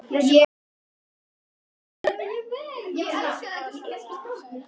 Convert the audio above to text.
Blessuð góða slappaðu af sagði Tóti.